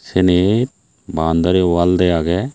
senit baundari wall dey agey.